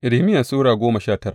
Irmiya Sura goma sha tara